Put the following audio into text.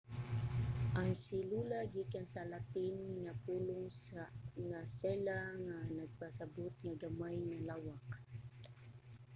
ang selula gikan sa latin nga pulong nga cella nga nagpasabot nga gamay nga lawak